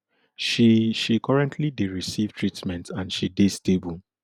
she she currently dey receive treatment and she dey stable